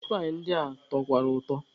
Mitpaị ndị a tọkwara ụtọ.